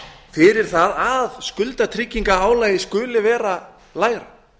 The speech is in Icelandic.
fyrir það að skuldatryggingarálagið skuli vera lægra